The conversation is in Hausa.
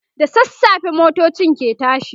da sassafe motocin ke tashi